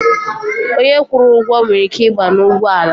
Onye kwụrụ ụgwọ nwere ike ịba n'ugbọala.